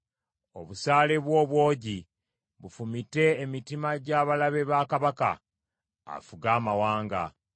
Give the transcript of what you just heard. Obusaale bwo obwogi bufumite emitima gy’abalabe ba kabaka; afuge amawanga.